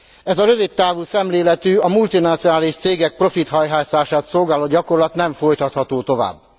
Ez a rövidtávú szemléletű, a multinacionális cégek profithajhászását szolgáló gyakorlat nem folytatható tovább.